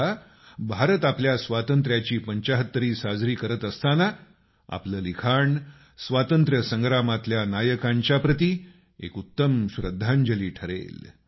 आता भारत आपल्या स्वातंत्ऱ्या ची पंचाहत्तरी साजरी करत असताना आपलं लिखाण स्वातंत्र्य संग्रामातल्या नायकांच्या प्रति एक उत्तम श्रद्धांजलि ठरेल